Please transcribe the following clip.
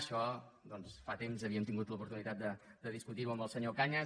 això doncs fa temps havíem tingut l’oportunitat de discutir ho amb el senyor cañas